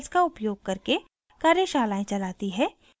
spoken tutorials का उपयोग करके कार्यशालाएं चलाती है